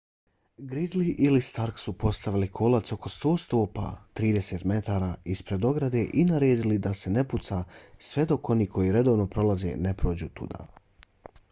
gridley ili stark su postavili kolac oko 100 stopa 30 m ispred ograde i naredili da se ne puca sve dok oni koji redovno prolaze ne prođu tuda